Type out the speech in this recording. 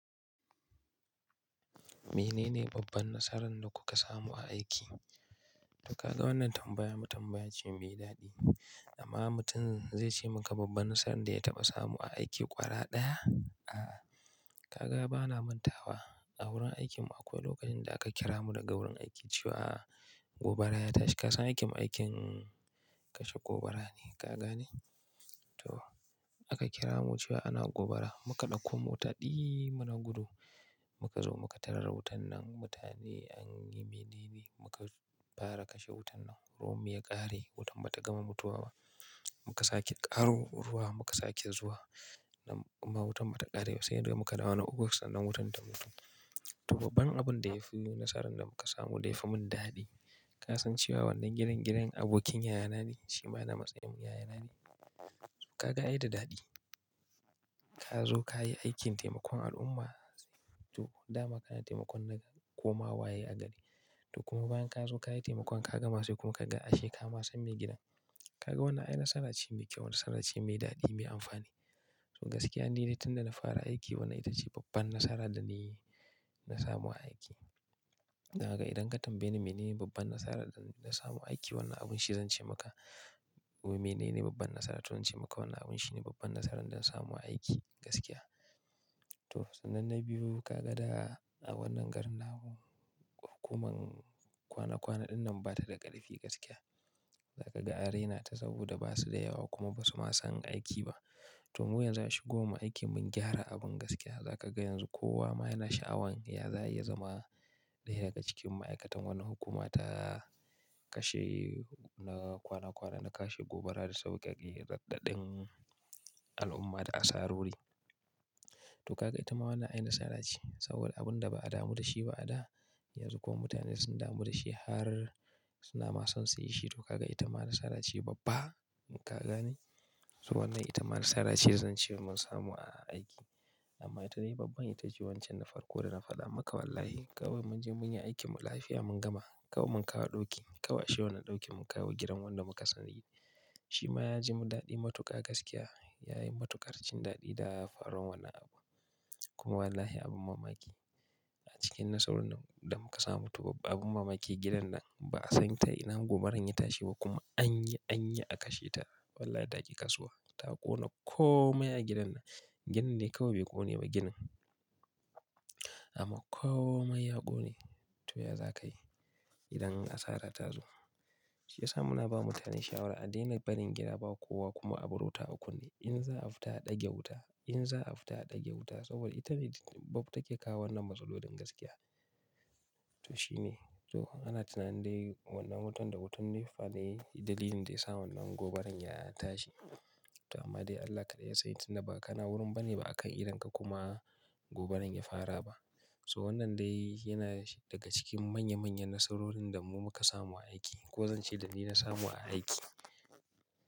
Menene babban nasaran da kuka samu a aiki? Ka ga wannan tambaya, tambaya ce mai daɗi. Amma mutum zai ce maka babban nasaran da ya taɓa samu a aiki ƙwara ɗaya. A, ka ga bana manta wa. A wurin aikinmu akwai lokacin da aka kira mu daga wurin aiki cewa gobara ya tashi. Ka san aikinmu aikin kashe gobara ne, ka gane? To, aka kira mu cewa ana gobara. Mu ka ɗauko mota ɗiy muna gudu. Mu ka zo mu ka tarar wutan nan. Mutane an yi mene ne, mu ka fara kashe wutan nan. Ruwan mu ya ƙare, wutan ba ta gama mutuwa ba. Mu ka sake ƙaro ruwa, mu ka sake zuwa. Amma wutan ba ta ƙare ba. Sai da mu ka dawo na uku sannan wutan ta mutu. To babban abun da ya fi nasaran da muka samu da ya fi mun daɗi. Ka san cewa wannan gidan gidan abokin yayana ne? Shi ma na matsayin yayana ne. Ka ga ai da daɗi. Ka zo ka yi aikin taimakon al'umma. To, dama kana taimakon na komawa ye agari. To kuma bayan ka zo ka yi taimakon ka ga ma sai kuma ka ga ashe ka ma san mai gidan. Ka ga wannan ai nasara ce mai kyau, nasara ce mai daɗi, mai amfani. To gaskiya ni dai tun da na fara aiki wannan ita ce babban nasara da na yi, na samu a aiki. Ka ga idan ka tambaye ni mene ne babban nasarar da na samu a aiki, wannan abun shi zan ce maka. Mene ne babban nasarar? To zan ce maka wannan abun shi ne babban nasaran da na samu a aiki gaskiya. To sannan na biyu ka ga da a wannan garin namu hukumar kwana kwana ɗinnan ba ta da ƙarfi gaskiya. Za ka an raina ta saboda ba su da yawa kuma ba su ma san aiki ba. To mu yanzu a shigowar mu aiki mun gyara abun gaskiya. Za ka ga yanzu kowa ma yana sha'awan ya za, a yi ya zama ɗaya daga cikin ma'aikatan wannan hukuma ta kashe na kwana kwana, na kashe gobara da sauƙa ƙe raɗaɗin al'umma da asarori. To ka ga ita ma wannan ai nasara ce. Saboda abun da ba a damu da shi ba a da, yanzu kuma mutane sun damu da shi har suna ma son su yi shi. To ka ga ita ma nasara ce babba, ka gane? To wannan ita ma nasara ce zan ce mun samu a aiki. Amma ita dai babban ita ce wancan na farko da na faɗa maka wallahi. Kawai mun je mun yi aikin mu lafiya mun gama. Kawai mun kawo ɗauki, kawai ashe wannan ɗaukin mun kawo gidan wanda muka sani. Shi ma ya ji daɗi matuƙa gaskiya. Ya yi matuƙar jin daɗi da faruwan wannan abu. Kuma wallahi abun mamaki a cikin nasarorin da muka samu. To abun mamaki gidan nan ba a san ta ina gobaran ya tashi ba kuma an yi, an yi a kashe ta. Wallahi ta ƙi kasuwa. Ta ƙona komai a gidan nan. Gidan dai kawai bai ƙone ba ginin. Amma komai ya ƙone. To ya za ka yi idan asara ta zo? Shi ya sa muna ba mutane shawara a daina barin gida ba kowa kuma a bar wuta akun ne. In za a fita a ɗage wuta, in za a fita a ɗage wuta saboda ita ne bob take kawo wannan matsalolin gaskiya. To shine. To ana tunanin dai wannan wutan da wutan ne fa ne dalilin da ya sa wannan gobaran ya tashi. To amma dai Allah ka ɗai ya sani tun da ba kana wurin ba ne ba a kan idonka kuma gobaran ya fara ba. So wannan dai yana daga cikin manya manyan nasarorin da mu muka samu a aiki ko zan ce danii na samu a aiki.